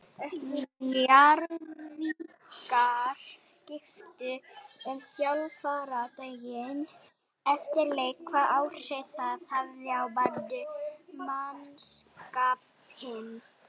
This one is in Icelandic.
Njarðvíkingar skiptu um þjálfara daginn fyrir leik, hvaða áhrif það hafði á mannskapinn?